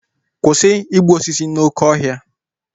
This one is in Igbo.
Kwụsị igbu osisi dị n'oké ọhịa!